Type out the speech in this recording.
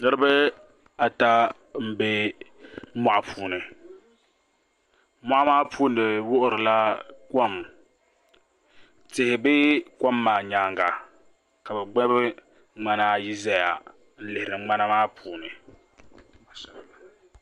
Niraba ata n bɛ moɣu puuni moɣa maa puuni wuhurila kom tihi bɛ kom maa nyaanga ka bi gbubi ŋmana ayi ʒɛya n lihiri ŋmana maa puuni